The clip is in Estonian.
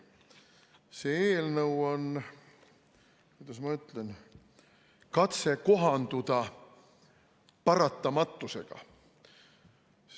See eelnõu on, kuidas ma ütlen, katse kohanduda paratamatusega.